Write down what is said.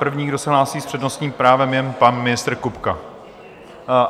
První, kdo se hlásí s přednostním právem, je pan ministr Kupka.